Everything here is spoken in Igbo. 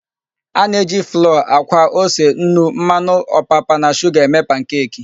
A na-eji flọọ, àkwá, ose, nnu, mmanụ ọpapa na shuga eme pankeki.